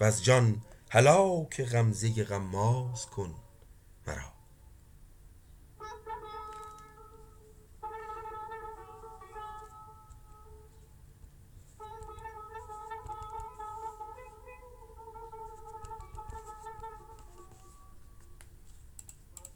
وز جان هلاک غمزه غماز کن مرا